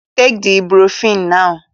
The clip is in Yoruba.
Take the ibuprofen now